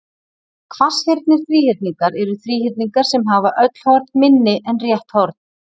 Hvasshyrndir þríhyrningar eru þríhyrningar sem hafa öll horn minni en rétt horn.